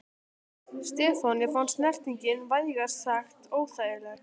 Stefáni fannst snertingin vægast sagt óþægileg.